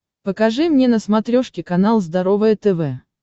покажи мне на смотрешке канал здоровое тв